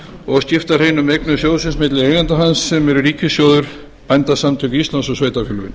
og skipta hreinum eignum sjóðsins milli eigenda hans sem eru ríkissjóður bændasamtök íslands og